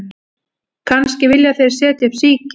Kannski vilja þeir setja upp síki